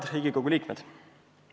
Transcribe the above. Head Riigikogu liikmed!